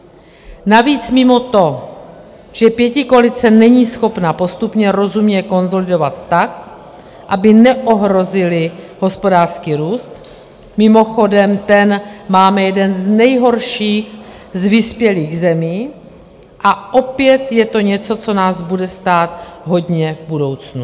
Navíc mimo to, že pětikoalice není schopna postupně rozumně konsolidovat tak, aby neohrozili hospodářský růst, mimochodem ten máme jeden z nejhorších z vyspělých zemí a opět je to něco, co nás bude stát hodně v budoucnu.